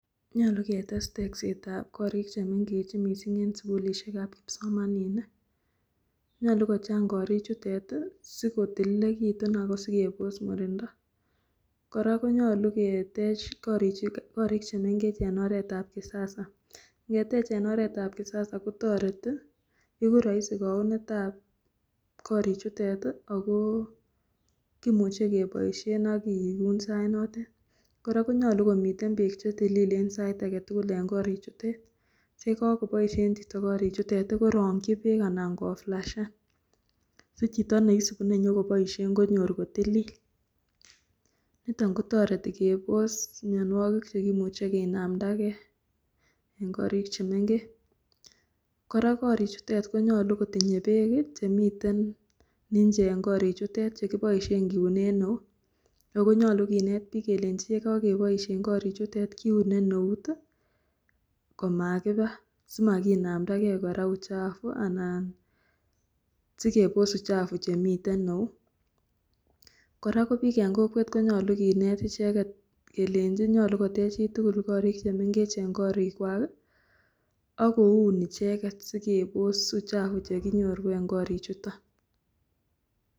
Nyolu ketes teksetab korik chemeng'ech mising en sukulishekab kipsomaninik, nyolu kochang korichutet sikotililekitun ak ko sikebos murindo, kora konyolu ketech korik chemeng'ech en oreetab kisasa, ing'etech en oreetab kisasa koiku roisi kounetab korichutet ak ko kimuche keboishen ak kiun sainotet, korak konyolu komiten beek chetililen sait aketukul en koriichutet siyekakoboishen chito korichutet korongyi beek anan koflashen, si chito nenyokoboishen konyor kotilil, niton kotereti kebos mionwokik chekimuche kinamndake en korik chemeng'ech, kora korichutet konyolu kotinye beek en nje en korichutet chekiboishen kiunen eut ak ko nyolu kinet biik kelenchi yekokeboishen korichutet kiune neut komakiba simakinamndake kora uchavu anan sikebos uchavu chemiten en eut, kora ko biik en kokwet konyolu kineet icheket kelenchi nyolu kotech chitukul korik chemeng'ech en korikwak ak koun icheket sikebos uchavu chekinyoru en korichuton.